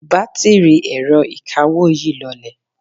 batiri ẹrọ ìkawó yi lọlẹ